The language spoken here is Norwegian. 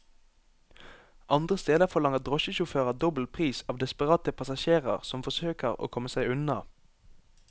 Andre steder forlanger drosjesjåfører dobbel pris av desperate passasjerer som forsøker å komme seg unna.